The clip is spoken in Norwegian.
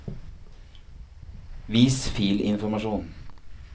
vis filinformasjon